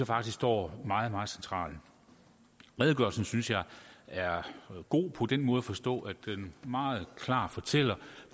faktisk står meget meget centralt redegørelsen synes jeg er god på den måde at forstå at den meget klart fortæller